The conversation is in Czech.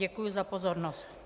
Děkuji za pozornost.